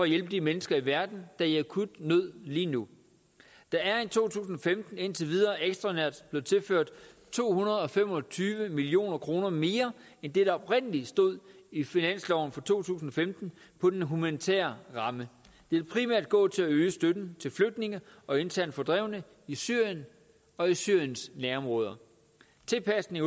hjælpe de mennesker i verden er i akut nød lige nu der er i to tusind og femten indtil videre ekstraordinært blevet tilført to hundrede og fem og tyve million kroner mere end det der oprindelig stod i finansloven for to tusind og femten på den humanitære ramme det vil primært gå til at øge støtten til flygtninge og internt fordrevne i syrien og i syriens nærområder tilpasning